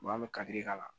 an bɛ kari k'a la